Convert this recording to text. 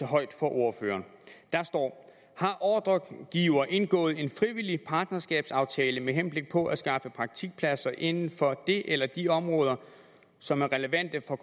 højt for ordføreren der står har ordregiver indgået en frivillig partnerskabsaftale med henblik på at skaffe praktikpladser inden for det eller de områder som er relevante for